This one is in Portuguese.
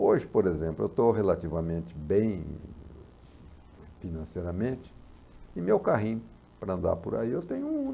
Hoje, por exemplo, eu estou relativamente bem financeiramente e meu carrinho para andar por aí eu tenho um.